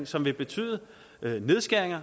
som vil betyde nedskæringer